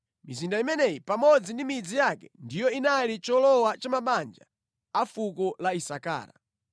Mizinda imeneyi pamodzi ndi midzi yake ndiyo inali cholowa cha mabanja a fuko la Isakara.